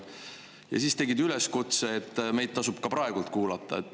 Ja siis sa tegid üleskutse, et meid tasub ka praegu kuulata.